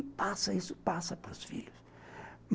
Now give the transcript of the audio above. E passa, isso passa para os filhos.